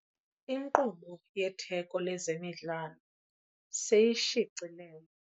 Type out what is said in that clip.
Inkqubo yetheko lezemidlalo seyishicilelwe.